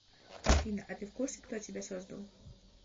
афина а ты в курсе кто тебя создал